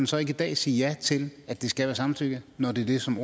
så ikke i dag sige ja til at det skal være samtykke når det er det som